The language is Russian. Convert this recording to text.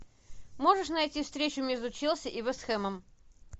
можешь найти встречу между челси и вест хэмом